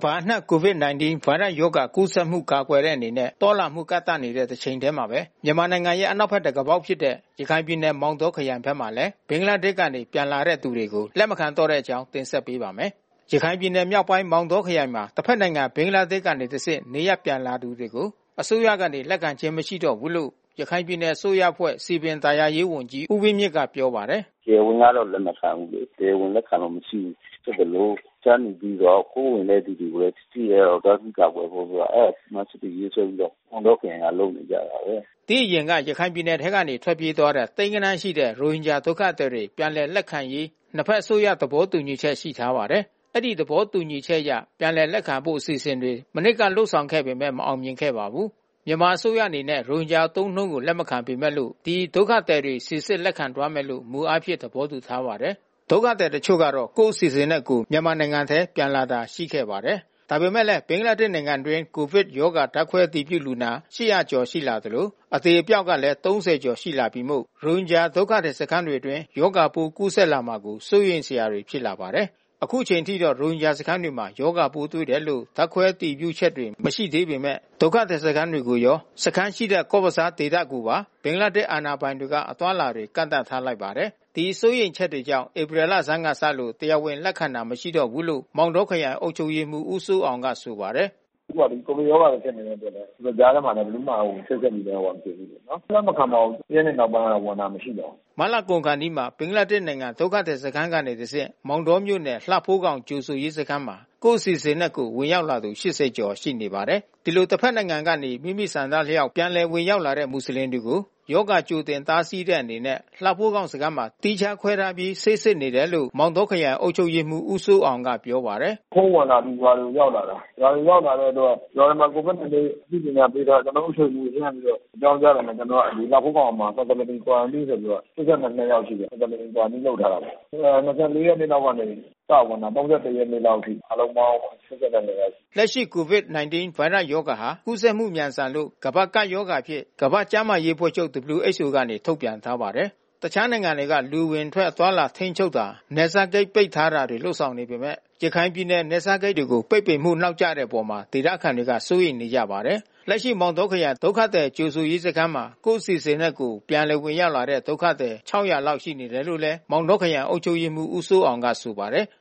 ဘာအနှံ့ COVID-19 ဗိုင်းရပ်ရောဂါကူးစက်မှု ကာကွယ်တဲ့အနေနဲ့ သွားလာမှု ကန့်သတ်နေတဲ့တချိန်ထဲမှာဘဲ မြန်မာနိုင်ငံရဲ့ အနောက်ဘက်တံခါးပေါက်ဖြစ်တဲ့ ရခိုင်ပြည်နယ်မောင်တောခရိုင်ဘက်မှာလည်း ဘင်္ဂလားဒေ့ရှ်ကနေ ပြန်လာတဲ့သူတွေကို လက်မခံတော့တဲ့အကြောင်း ဗွီအိုအေမြန်မာပိုင်း သတင်းထောက် ကိုနိုင်ကွန်းအိန်က တင်ဆက်ပေးပါမယ်။ ရခိုင်ပြည်နယ်မြောက်ပိုင်း မောင်တောခရိုင်မှာ တဘက်နိုင်ငံ ဘင်္ဂလားဒေ့ရှ်ကနေ တဆင့်နေရပ်ပြန်လာသူတွေကို အစိုးရကနေ လက်ခံခြင်း မရှိတော့ဘူးလို့ ရခိုင်ပြည်နယ်အစိုးရအဖွဲ့ စည်ပင်သာယာရေးဝန်ကြီး ဦးဝင်းမြင့်ကပြောပါတယ်။ “တရားဝင်ကတော့ လက်မခံဘူးလေ။ တရားဝင်လက်ခံလို့ မရှိဘူးဖြစ်သလို တခြားနေပြီးတော့ ခိုးဝင်တဲ့သူတွေကိုလဲ ထိထိရောက်ရောက် တားဆီးကာကွယ်ဖို့အတွက် အဲဒါ စီမံချက်တွေရေးဆွဲပြီးတော့ မောင်တောခရိုင်လုပ်နေကြပါတယ်။” ဒီအရင်ကတော့ ရခိုင်ပြည်နယ်ထဲကနေ ထွက်ပြေးသွားတဲ့ သိန်းဂဏန်းရှိတဲ့ ရိုဟင်ဂျာဒုက္ခသည်တွေ ပြန်လည် လက်ခံရေး နှစ်ဘက် အစိုးရသဘောတူညီချက် ရှိထားပါတယ်။ အဲဒီသဘောတူညီချက်အရ ပြန်လည်လက်ခံဖို့ အစီအစဉ်တွေ မနှစ်က လုပ်ခဲ့ပေမဲ့ မအောင်မြင်ပါဘူး။ မြန်မာအစိုးရအနေနဲ့ ရိုဟင်ဂျာအသုံးအနှုန်းကို လက်မခံပေမဲ့လို့ ဒီ ဒုက္ခသည်တွေကို စီစစ်လက်ခံသွားမယ်လို့ မူအားဖြင့် သဘောတူထားပါတယ်။ ဒုက္ခသည်အချို့ကတော့ ကိုယ့်အစီအစဉ်နဲ့ကိုယ် မြန်မာနိုင်ငံထဲ ပြန်လာတာရှိခဲ့ပါတယ်။ ဒါပေမယ့်လည်း ဘင်္ဂလားဒေ့ရ်ှနိုင်ငံတွင်း COVID ရောဂါပိုးဓါတ်ခွဲအတည်ပြုလူနာ ၈၀၀ ကျော်လာသလို အသေအပျောက်ကလည်း ၃၀ ကျော်လာပြီမို့ ရိုဟင်ဂျာဒုက္ခသည်စခန်းတွေအတွင်း ရောဂါပိုးကူးစက်လာမှာကို စိုးရိမ်စရာတွေ ဖြစ်လာပါတယ်။ အခုအချိန်အထိတော့ ရိုဟင်ဂျာစခန်းတွေမှာ ရောဂါပိုးတွေ့တယ်လို့ ဓါတ်ခွဲအတည်ပြုချက်တွေ မရှိသေးပေမဲ့ ဒုက္ခသည်စခန်းတွေကိုရော စခန်းရှိတဲ့ Cox’s bazar ဒေသကိုပါ ဘင်္ဂလားဒေ့ရ်ှ အာဏာပိုင်တွေက အသွားအလာတွေ ကန့်သတ်ထားလိုက်ပါတယ်။ ဒီစိုးရိမ်ချက်တွေကြောင့် ဧပြီလဆန်းကစလို့ တရားဝင်လက်ခံတာ မရှိတော့ဘူးလို့ မောင်တောခရိုင်အုပ်ချုပ်ရေးမှူး ဦးစိုးအောင်ကဆိုပါတယ်။ “အခုဟာ COVID ရောဂါဖြစ်နေတဲ့အတွက်လည်း ဒီကြားထဲမှာ ဘယ်သူမှလဲ ချိတ်ဆက်ပြီးတော့မတွေ့ဘူးပေါ့နော်။ လက်မခံပါဘူး။ ၁ ရက်နေ့နောက်ပိုင်း ဝင်လာတာမရှိပါဘူး။” မတ်လကုန်ခါနီးမှာ ဘင်္ဂလားဒေ့ရှ်နိုင်ငံ ဒုက္ခသည်စခန်းကနေတဆင့် မောင်တောမြို့နယ်လှဖိုးခေါင်ကြိုဆိုရေးစခန်းမှာ ကိုယ့်အစီအစဉ်နဲ့ကိုယ် ဝင်ရောက်လာသူ ၈၀ ကျော်ရှိနေပါတယ်။ ဒီလို တဘက်နိုင်ငံကနေ မိမိဆန္ဒအလျောက် ပြန်လည်ဝင်ရောက်လာတဲ့ မူဆလင်တွေကို ရောဂါ ကြိုတင်တားဆီးတဲ့အနေနဲ့လှဖိုးခေါင်စခန်းမှာ သီးခြားခွဲထားပြီး ဆေးစစ်နေတယ်လို့ မောင်တောခရိုင်အုပ်ချုပ်ရေးမှူး ဦးစိုးအောင်ကပြောပါတယ်။ “ခိုးဝင်လာသူတွေ ဒီဟာရောက်လာတာ။ ရွာတွေရောက်လာတဲ့အတွက် ရွာတွေမှာCOVID နှိမ်နှင်းရေးအသိပညာပေးထားတယ်။ ကျနော်တို့ အုပ်ချုပ်ရေးမှူးလှမ်းပြီးတော့အကြောင်းကြားတာနဲ့ ကျနော်ကလှဖိုးခေါင်မှာ Facility Qurantine ဆိုပြီးတော့ ၈၂ ယောက်ရှိတယ်။ Facility Qurantine လုပ်ထားတယ်။ ၂၄ ရက်နေ့လောက်က စဝင်လာတယ်။ ၃၁ ရက်နေ့အထိအားလုံးပေါင်း ၈၂ ယောက်။” လက်ရှိ COVID-19 ဗိုင်းရပ်စ်ရောဂါဟာ ကူးစက်မှု မြန်ဆန်လို့ ကမ္ဘာ့ကပ်ရောဂါအဖြစ် ကမ္ဘာကျန်းမာရေးအဖွဲ့ချုပ် WHO က ထုတ်ပြန်ထားပါတယ်။ တခြားနိုင်ငံတွေက လူအဝင်ထွက်အသွားအလာ ထိန်းချုပ်တာ နယ်စပ်ဂိတ်ပိတ်ပင်တာလုပ်ဆောင်နေပေမဲ့ ရခိုင်ပြည်နယ် နယ်စပ်ဂိတ်ကို ပိတ်ပင်မှု နောက်ကျနေတဲ့အပေါ် ဒေသခံတွေက စိုးရိမ်နေကြပါတယ်။ လက်ရှိမောင်တောခရိုင် ဒုက္ခသည်ကြိုဆိုရေးစခန်းမှာ ကိုယ့်အစီအစဉ်နဲ့ကိုယ် ပြန်လည်ဝင်ရောက်လာတဲ့ ဒုက္ခသည် ၆၀၀ လောက်ရှိနေတယ်လို့ မောင်တောခရိုင်အုပ်ချုပ်ရေးမှူး ဦးစိုးအောင်က ဆိုပါတယ်။